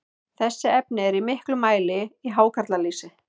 þessi efni eru í miklum mæli í hákarlalýsi